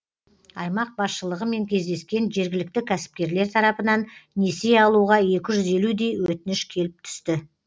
аймақ басшылығымен кездескен жергілікті кәсіпкерлер тарапынан несие алуға екі жүз елудей өтініш келіп түсті